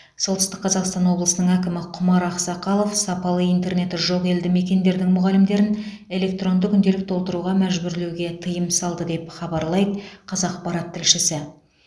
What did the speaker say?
солтүстік қазақстан облысының әкімі құмар ақсақалов сапалы интернеті жоқ елді мекендердің мұғалімдерін электронды күнделік толтыруға мәжбүрлеуге тыйым салды деп хабарлайды қазақпарат тілшісі